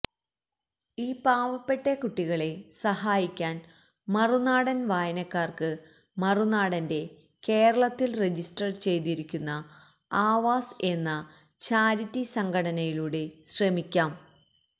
ഈ പാവപ്പെട്ട കുട്ടികളെ സഹായിക്കാൻ മറുനാടൻ വായനക്കാർക്ക് മറുനാടന്റെ കേരളത്തിൽ രജിസ്റ്റർ ചെയ്തിരിക്കുന്ന ആവാസ് എന്ന ചാരിറ്റി സംഘടനയിലൂടെ ശ്രമിക്കാം